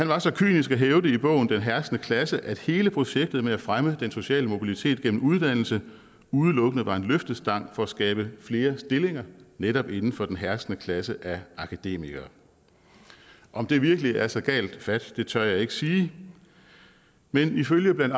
var så kynisk i bogen den herskende klasse at hele projektet med at fremme den sociale mobilitet gennem uddannelse udelukkende var en løftestang for at skabe flere stillinger netop inden for den herskende klasse af akademikere om det virkelig er så galt fat tør jeg ikke sige men ifølge blandt